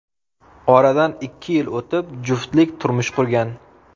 Oradan ikki yil o‘tib juftlik turmush qurgan.